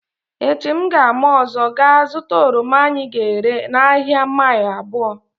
Echi m ga-ama ụzọ gaa zụta oroma anyị ga-ere n’ahịa mile abụo